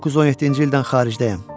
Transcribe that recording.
1917-ci ildən xaricdəyəm.